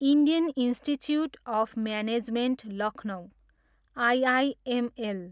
Indian Institute of Management Lucknow, IIML